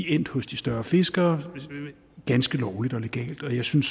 endt hos de større fiskere ganske lovligt og legalt og jeg synes